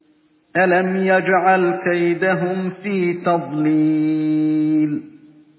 أَلَمْ يَجْعَلْ كَيْدَهُمْ فِي تَضْلِيلٍ